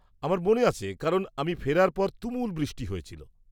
-আমার মনে আছে কারণ আমি ফেরার পর তুমুল বৃষ্টি শুরু হয়েছিল।